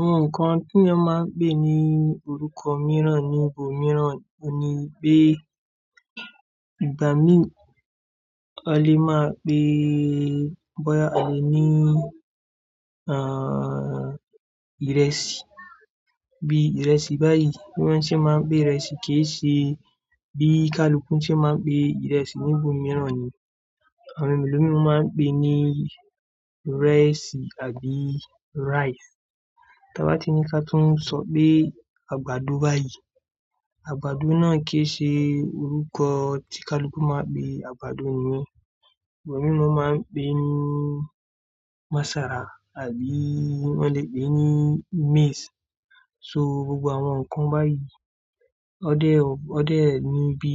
Àwọn nǹkan tí a máa ń pè ní orúkọ mìíràn ní ibòmíràn ohun ni pé ìgbà míì a lè máa pe bóyá a lè ní àń, ìrẹsì bí ìrẹsì báyìí. Bí wọ́n ṣe máa ń pè ìrẹsì kì í ṣe bí Kaluku ṣe máa ń pè ìrẹsì ní ibòmíràn ni, àwọn ẹlomiran máa ń pè ní ìrẹsì àbí rice. Tí a bá ti ní ká túń sọ pé àgbàdo báyìí, àgbàdo náà kì í ṣe orúkọ tí Kaluku máa ń pè àgbàdo niyẹn. Awọn ẹlomii máa ń pè ní masara àbí wọ́n lè pè ní maize. So gbogbo àwọn nǹkan báyìí, ó dé ọ́, ó dé ẹ ní bí